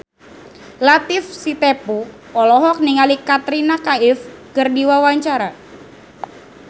Latief Sitepu olohok ningali Katrina Kaif keur diwawancara